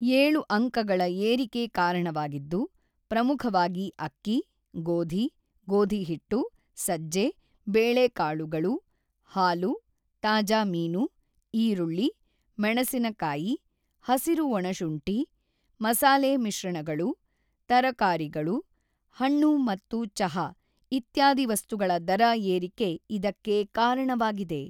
೭ ಅಂಕಗಳ ಏರಿಕೆ ಕಾರಣವಾಗಿದ್ದು, ಪ್ರಮುಖವಾಗಿ ಅಕ್ಕಿ, ಗೋಧಿ, ಗೋಧಿ ಹಿಟ್ಟು, ಸಜ್ಜೆ, ಬೇಳೆಕಾಳುಗಳು, ಹಾಲು, ತಾಜಾ ಮೀನು, ಈರುಳ್ಳಿ, ಮೆಣಸಿನಕಾಯಿ, ಹಸಿರು ಒಣಶುಂಠಿ, ಮಸಾಲೆ ಮಿಶ್ರಣಗಳು, ತರಕಾರಿಗಳು, ಹಣ್ಣು ಮತ್ತು ಚಹಾ ಇತ್ಯಾದಿ ವಸ್ತುಗಳ ದರ ಏರಿಕೆ ಇದಕ್ಕೆ ಕಾರಣವಾಗಿದೆ.